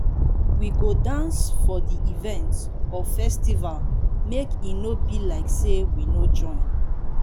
we go dance for di event or festival make e no be like sey we no join